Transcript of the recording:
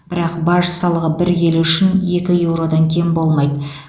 бірақ баж салығы бір келі үшін екі еуродан кем болмайды